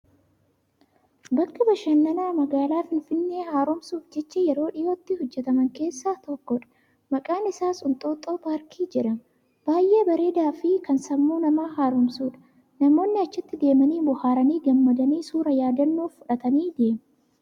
Bakka bashannanaa magaalaa finfinnee haroomsuuf jecha yeroo dhiyootti hojjattaman keessaa tokkodha. Maqaan isaas Inxooxoo Paarkii jedhama. Baay'ee bareedaafi kan sammuu namaa haroomsudha. Namoonni achitti deemanii bohaaranii gammadanii suuraa yaadannoof fudhatanii deemu.